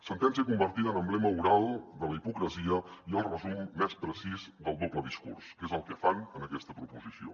sentència convertida en emblema oral de la hipocresia i el resum més precís del doble discurs que és el que fan en aquesta proposició